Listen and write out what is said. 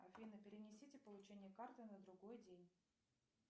афина перенесите получение карты на другой день